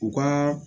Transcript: U ka